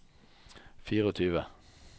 tjuefire